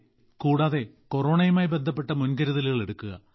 അതെ കൂടാതെ കൊറോണയുമായി ബന്ധപ്പെട്ട മുൻകരുതലുകൾ എടുക്കുക